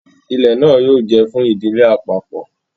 Ilẹ náà yóò jẹ fún ìdílé àpapọ